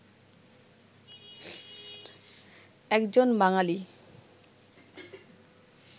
একজন বাঙালি